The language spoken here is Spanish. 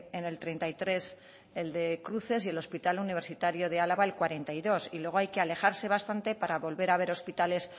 en el treinta y tres el de cruces y el hospital universitario de álava el cuarenta y dos y luego hay que alejarse bastante para volver a ver hospitales